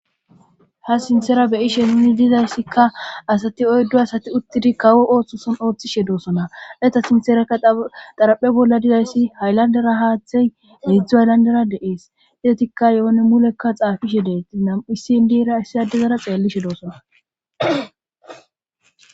ha sinthera beyishe nuni dizayssikka asati oyddo asati uttidi kawo ooththosan ooththishe doosona eta sinteraka xaraphe bolla dizayssi hayllandera haaththey midzdzu ayllandera deees izetikka yoone mulekka xaafishe deetti nam7issin diira issi addizara xeellishe doosona